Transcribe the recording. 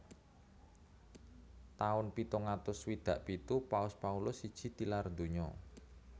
Taun pitung atus swidak pitu Paus Paulus siji tilar donya